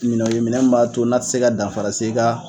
Minɛn ko minɛn mun b'a to na te se ka dafara se i ka